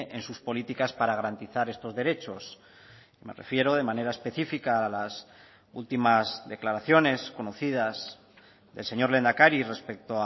en sus políticas para garantizar estos derechos me refiero de manera específica a las últimas declaraciones conocidas del señor lehendakari respecto